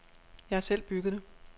Jeg har selv bygget det.